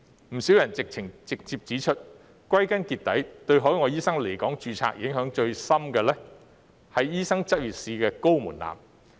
不少人直接指出，歸根究底，對海外醫生來港註冊影響最深的，是醫生執業試的高門檻。